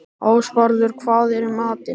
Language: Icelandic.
Ásvarður, hvað er í matinn?